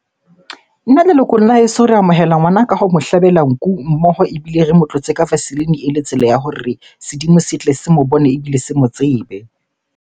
Nna lelokong la heso, re amohela ngwana ka ho mo hlabela nku mmoho. Ebile re mo tlotse ka vaseline ele tsela ya hore sedimo se tle se mo bone ebile se mo tsebe.